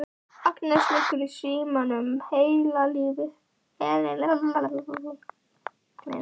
Agnes liggur í símanum heila eilífð.